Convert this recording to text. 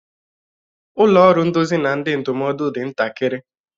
Ụlọ ọrụ nduzi na ndị ndụmọdụ dị ntakịrị.